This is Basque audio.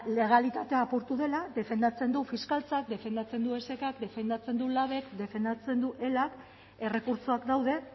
legalitatea apurtu dela defendatzen du fiskaltzak defendatzen du esk k defendatzen du labek defendatzen du elak errekurtsoak daude